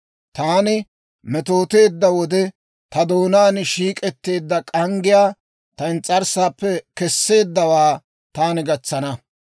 Taani metooteedda wode, ta doonaan shiik'etteedda k'anggiyaa, ta ins's'arssaappe keseeddawaa, taani gatsana.